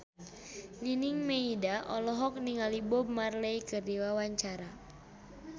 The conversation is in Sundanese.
Nining Meida olohok ningali Bob Marley keur diwawancara